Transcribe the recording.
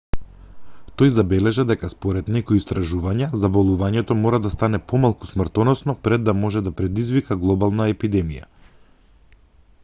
тој забележа дека според некои истражувања заболувањето мора да стане помалку смртоносно пред да може да предизвика глобална епидемија